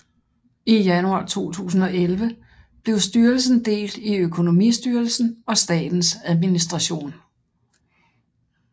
I januar 2011 blev styrelsen delt i Økonomistyrelsen og Statens Administration